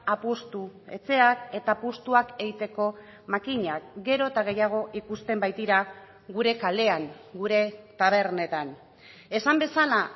apustu etxeak eta apustuak egiteko makinak gero eta gehiago ikusten baitira gure kalean gure tabernetan esan bezala